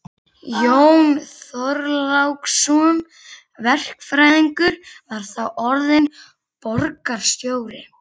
Jón Þorláksson verkfræðingur var þá orðinn borgarstjóri.